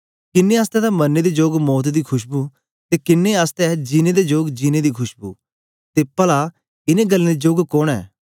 किन्नें आसतै तां मरने दे जोग मौत दी खुशबु ते किन्नें आसतै जीनें दे जोग जीनें दी खुशबु ते पला इनें गल्लें दे जोग कोन ऐ